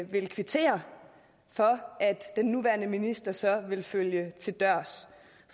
vil kvittere for at den nuværende minister så vil følge til dørs